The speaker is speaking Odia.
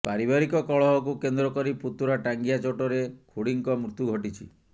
ପାରିବାରିକ କଳହକୁ କେନ୍ଦ୍ର କରି ପୁତୁରା ଟାଙ୍ଗିଆ ଚୋଟରେ ଖୁଡ଼ିଙ୍କ ମୃତ୍ୟୁ ଘଟିଛି